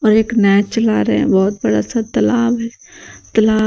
और एक नाय चला रहे हैं बहोत बड़ा सा तालाब है तलाब--